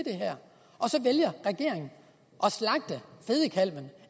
og så vælger regeringen at slagte fedekalven